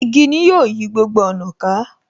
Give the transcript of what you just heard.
Igi ni ó yí gbogbo ọ̀nà ká.